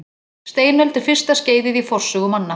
Steinöld er fyrsta skeiðið í forsögu manna.